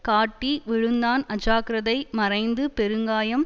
காட்டி விழுந்தான் அஜாக்கிரதை மறைந்து பெருங்காயம்